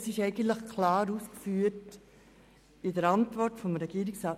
Das ist in der Regierungsantwort eigentlich klar ausgeführt.